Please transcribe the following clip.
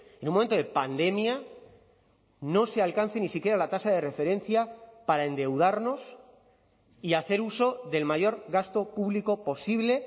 en un momento de pandemia no se alcance ni siquiera la tasa de referencia para endeudarnos y hacer uso del mayor gasto público posible